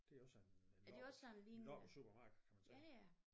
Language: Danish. Det er også en en loppe en loppesupermarked kan man sige